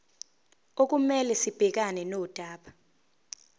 okumele sibhekane nodaba